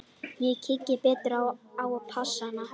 Ég kíki betur á passann.